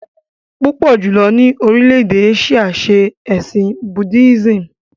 Púpọ̀ jùlọ ni orílè-èdè Áṣíà ṣe ẹ̀sìn Buddhism